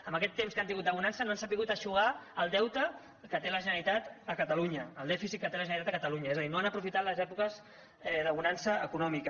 en aquest temps que han tingut de bonança no han sabut eixugar el deute que té la generalitat a catalunya el dèficit que té la generalitat a catalunya és a dir no han aprofitat les èpoques de bonança econòmica